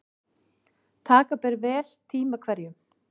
Taka ber vel tíma hverjum.